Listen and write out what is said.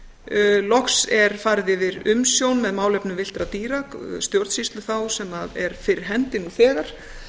villidýralaga loks er farið yfir umsjón með málefnum villtra dýra stjórnsýslu þá sem er fyrir hendi nú þegar